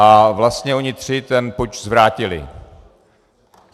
A vlastně oni tři ten puč zvrátili.